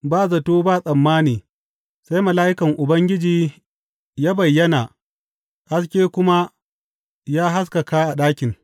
Ba zato ba tsammani sai mala’ikan Ubangiji ya bayyana haske kuma ya haskaka a ɗakin.